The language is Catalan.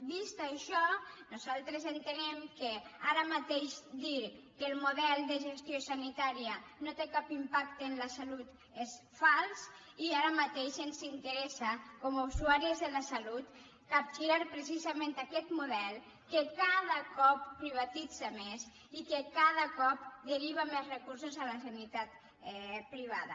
vist això nosaltres entenem que ara mateix dir que el model de gestió sanitària no té cap impacte en la salut és fals i ara mateix ens interessa com a usuàries de la salut capgirar precisament aquest model que cada cop privatitza més i que cada cop deriva més recursos a la sanitat privada